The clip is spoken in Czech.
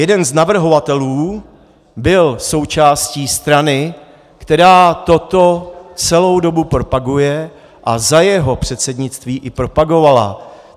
Jeden z navrhovatelů byl součástí strany, která toto celou dobu propaguje a za jeho předsednictví i propagovala.